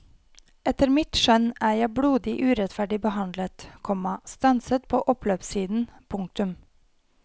Etter mitt skjønn er jeg blodig urettferdig behandlet, komma stanset på oppløpssiden. punktum